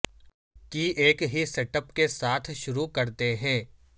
کی ایک ہی سٹ اپ کے ساتھ شروع کرتے ہیں